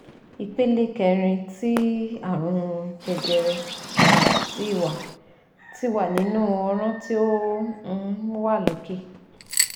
Ipele kerin ti arun jejere ti wa ti wa ninu ọrún ti o um wa loke